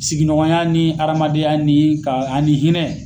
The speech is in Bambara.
Sigiɲɔgɔnya ni adamadenya ni ka a ni hinɛ.